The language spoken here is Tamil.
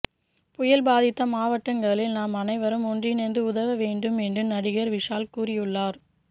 புயல் பாதித்த மாவட்டங்களில் நாம் அனைவரும் ஒன்றிணைந்து உதவ வேண்டும் என்று நடிகர் விஷால் கூறியுள்ளார்